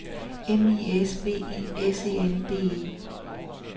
M I S V I S E N D E